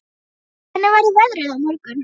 Friðgeir, hvernig verður veðrið á morgun?